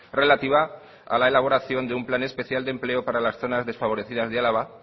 relativa a la elaboración de un plan especial de empleo para las zonas desfavorecidas de álava